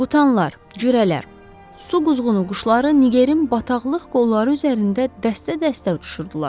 Qutanlar, cürələr, su quzğunu quşları Nigerin bataqlıq qolları üzərində dəstə-dəstə uçuşurdular.